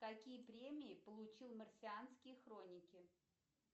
какие премии получил марсианские хроники